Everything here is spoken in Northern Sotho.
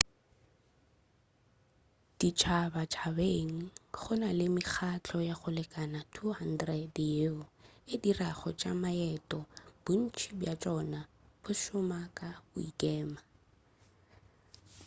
ditšhabatšhabeng go na le mekgahlo ya go lekana 200 yeo e dirago tša maeto bontši bja tšona bo šoma ka go ikema